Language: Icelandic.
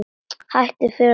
Hættum fjórða ágúst.